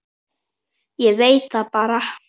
Ég veit það bara.